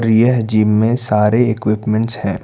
यह जिम में सारे इक्विपमेंट्स है।